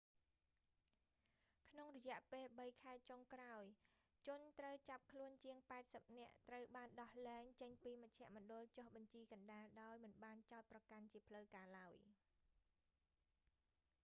ក្នុងរយៈពេល 3 ខែ ចុងក្រោយ ជនត្រូវចាប់ខ្លួនជាង 80 នាក់ ត្រូវបានដោះលែងចេញពីមជ្ឈមណ្ឌលចុះបញ្ជីកណ្តាលដោយមិនបានចោទប្រកាន់ជាផ្លូវការឡើយ